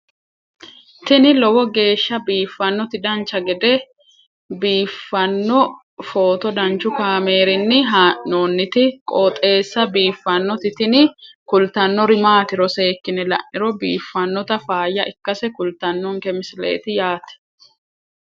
tini lowo geeshsha biiffannoti dancha gede biiffanno footo danchu kaameerinni haa'noonniti qooxeessa biiffannoti tini kultannori maatiro seekkine la'niro biiffannota faayya ikkase kultannoke misileeti yaate